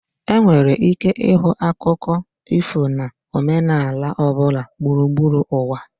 Enwere ike ịhụ akụkọ ifo na omenala ọ bụla gburugburu ụwa.